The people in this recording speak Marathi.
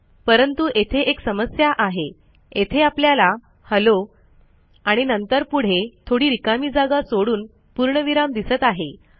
परंतु येथे एक समस्या आहे येथे आपल्याला हेल्लो आणि नंतर पुढे थोडी रिकामी जागा सोडून पूर्णविराम दिसत आहे